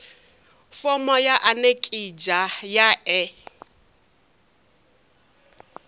fomo ya anekizha ya e